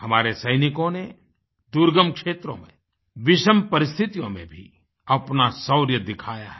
हमारे सैनिकों ने दुर्गम क्षेत्रों में विषम परिस्थितियों में भी अपना शौर्य दिखाया है